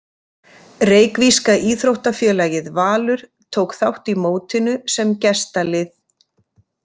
Reykvíska íþróttafélagið Valur tók þátt í mótinu sem gestalið.